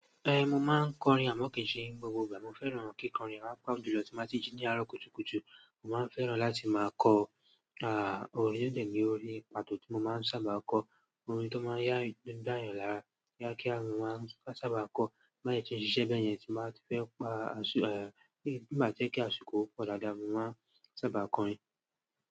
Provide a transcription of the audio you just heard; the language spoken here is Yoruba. Eh, mo máa ń kọrin àmọ́ kì í ṣe gbogbo ìgbà. Mo fẹ́ràn kíkọrin, àpá ìjùlọ tí mo bá ti jí ní àárọ̀ kùtùkùtù, mo máa ń fẹ́ràn láti máa kọ, à, orin tó dẹ̀rí orí Ìpàtó tí mo máa ń sábà kọ, orin tó máa ń yá ìdáyàn lára, yá kí áru máa ń sábà kọ̀ má ì ṣe ṣíṣe bẹ́ẹ̀ yẹn tí máa ti fẹ́ pa, eh, bí màá jẹ́ kí àsìkò ọ̀dààdà mi máa ń sábà kọrin.